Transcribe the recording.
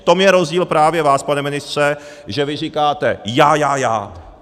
V tom je rozdíl právě vás, pane ministře, že vy říkáte já, já, já.